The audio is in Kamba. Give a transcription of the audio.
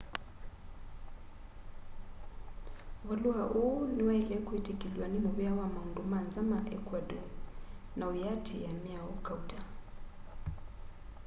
valua uu niwaile kwitikilw'a ni muvea ma maundu manza ma ecuador na uyiatiia miao kauta